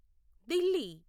Delhi